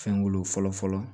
Fɛn wolo fɔlɔ fɔlɔ